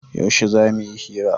Yaushe za mu yi hira?